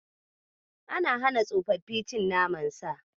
Ana hana tsofaffi cin naman Sa.